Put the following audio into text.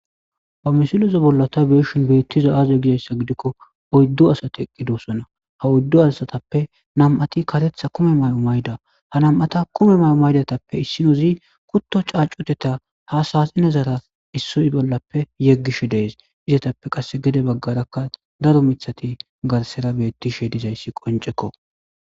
ha misileza bolla ta be7shin beettizay aaze gizayssa gidikko oyddu asati eqqidossona ha oyddu assatappe nam7ati karetha kume may7o mayda ha nam7ata kumetha may7o mayidatappe issinozi kutto caacuteta ha saxinezara issoy bollappe yeggishe dees izatappe qasse gede baggarakka daro mithati garsera beettishe dizayssi qonceko